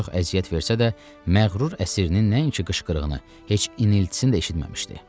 Çox əziyyət versə də, məğrur əsirinin nəinki qışqırığını, heç iniltisini də eşitməmişdi.